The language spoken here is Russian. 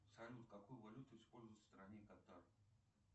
салют какую валюту используют в стране катар